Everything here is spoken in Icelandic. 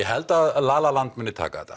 held að la la land muni taka þetta